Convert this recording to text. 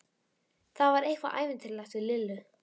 Það var eitthvað ævintýralegt við Lillu.